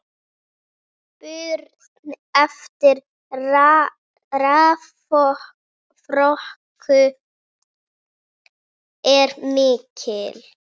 Spurn eftir raforku er mikil.